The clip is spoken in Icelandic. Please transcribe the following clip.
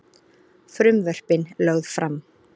Frumvörpin lögð fram